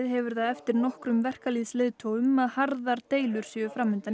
hefur það eftir nokkrum verkalýðsleiðtogum að harðar deilur séu fram undan